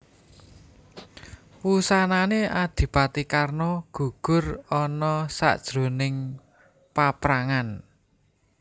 Wusanané Adipati Karna gugur ana sajroning paprangan